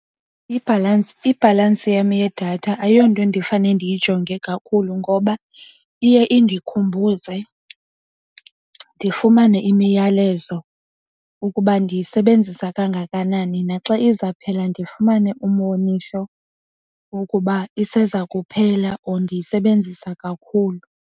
Ibhalansi yam yedatha ayonto endifane ndiyijonge kakhulu ngoba iye indikhumbuze ndifumane imiyalezo ukuba ndiyisebenzisa kangakanani. Naxa izawuphela ndifumane umwonisho wokuba iseza kuphela or ndiyisebenzisa kakhulu.